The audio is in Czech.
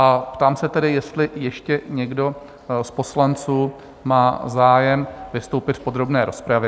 A ptám se tedy, jestli ještě někdo z poslanců má zájem vystoupit v podrobné rozpravě?